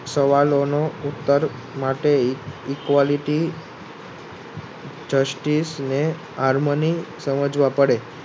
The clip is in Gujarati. સવાલોનો ઉત્તર માટે Equality સમજવા પડે